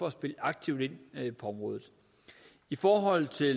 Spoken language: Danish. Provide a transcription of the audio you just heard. at spille aktivt ind på området i forhold til